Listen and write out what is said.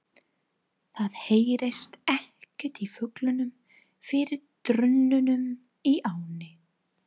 Það heyrðist ekkert í fuglunum fyrir drununum í ánni.